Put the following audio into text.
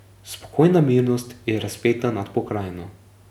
Spokojna mirnost je razpeta nad pokrajino.